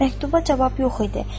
Məktuba cavab yox idi.